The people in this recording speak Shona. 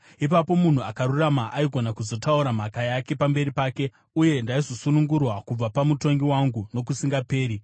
Ipapo munhu akarurama aigona kuzotaura mhaka yake pamberi pake, uye ndaizosunungurwa kubva pamutongi wangu nokusingaperi.